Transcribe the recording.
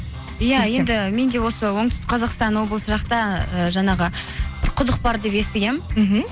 иә енді мен де осы оңтүстік қазақстан облыс жақта ы жаңағы бір құдық бар деп естігенмін мхм